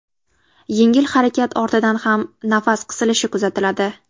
Yengil harakat ortidan ham nafas qisilishi kuzatiladi.